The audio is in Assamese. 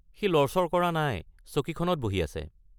সি লৰচৰ কৰা নাই, চকীখনত বহি আছে।